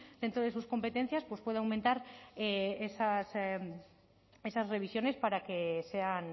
dentro de sus competencias pues pueda aumentar esas revisiones para que sean